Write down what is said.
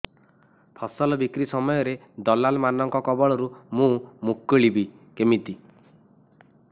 ଫସଲ ବିକ୍ରୀ ସମୟରେ ଦଲାଲ୍ ମାନଙ୍କ କବଳରୁ ମୁଁ ମୁକୁଳିଵି କେମିତି